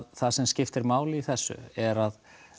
það sem skiptir máli í þessu er að